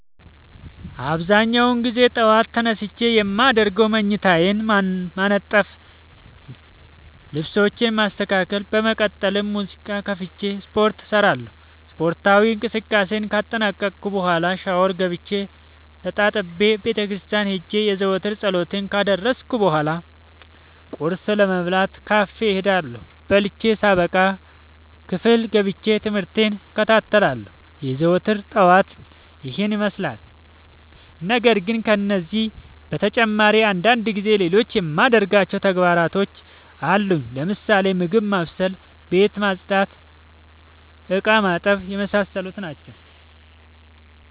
አብዛኛውን ግዜ ጠዎት ተነስቼ የማደርገው መኝታዬን ማነጠፍ ልብሶቼን ማስተካከል በመቀጠልም ሙዚቃ ከፍቼ ስፓርት እሰራለሁ ስፓርታዊ እንቅስቃሴን ካጠናቀቅኩ በኋ ሻውር ገብቼ ተጣጥቤ ቤተክርስቲያን ሄጄ የዘወትር ፀሎቴን ካደረስኩ በሏ ቁርስ ለመብላት ካፌ እሄዳለሁ። በልቼ ሳበቃ ክፍል ገብቼ። ትምህርቴን እከታተላለሁ። የዘወትር ጠዋቴ ይህን ይመስላል። ነገርግን ከነዚህ በተጨማሪ አንዳንድ ጊዜ ሌሎቹ የማደርጋቸው ተግባሮች አሉኝ ለምሳሌ፦ ምግብ ማብሰል፤ ቤት መፅዳት፤ እቃማጠብ የመሳሰሉት።